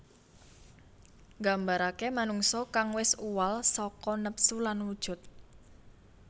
Nggambaraké manungsa kang wis uwal saka nepsu lan wujud